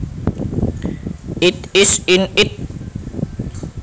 it is in it